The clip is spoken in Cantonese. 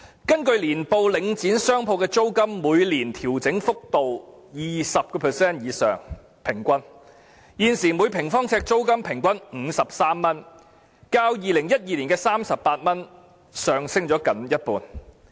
根據其年報，領展商鋪的租金每年調整幅度平均是 20% 以上，現時每平方呎租金平均為53元，較2012年的38元上升接近一半。